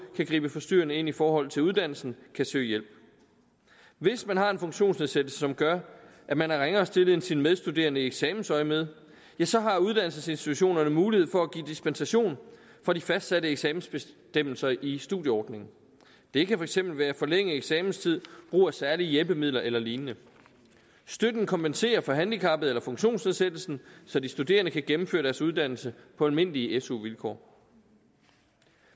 kan gribe forstyrrende ind i forhold til uddannelsen kan søge hjælp hvis man har en funktionsnedsættelse som gør at man er ringere stillet end sine medstuderende i eksamensøjemed så har uddannelsesinstitutionerne mulighed for at give dispensation fra de fastsatte eksamensbestemmelser i studieordningen det kan for eksempel være forlænget eksamenstid brug af særlige hjælpemidler eller lignende støtten kompenserer for handicappet eller funktionsnedsættelsen så de studerende kan gennemføre deres uddannelse på almindelige su vilkår